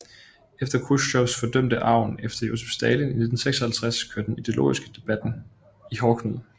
Efter at Khrusjtsjov fordømte arven efter Josef Stalin i 1956 kørte den ideologiske debatten i hårdknude